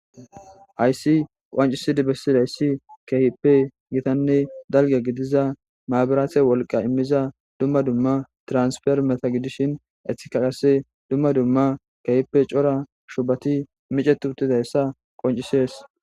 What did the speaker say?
Hayssi qancisidi bessidayssi kehippe gitanne dalge gidiza maabiraathe wolqa immiza dumma dumma transfer meta gidishin ethikaqase dumma dumma kehippe cora shubati micetu uttidayssa qoncisees.